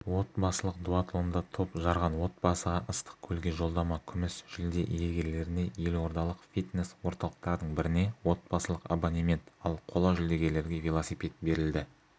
отбасылық дуатлонда топ жарған отбасыға ыстықкөлге жолдама күміс жүлде иегерлеріне елордалық фитнес-орталықтардың біріне отбасылық абонемент ал қола жүлдегерлерге велосипед берілді